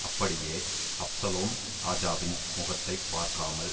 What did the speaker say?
அப்படியே அப்சலோம் ராஜாவின் முகத்தை பார்க்காமல்